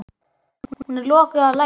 Hún er lokuð og læst.